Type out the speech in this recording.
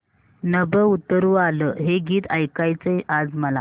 नभं उतरू आलं हे गीत ऐकायचंय आज मला